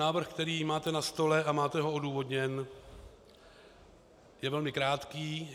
Návrh, který máte na stole a máte ho odůvodněn, je velmi krátký.